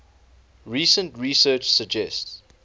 recent research suggests